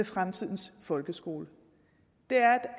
fremtidens folkeskole det er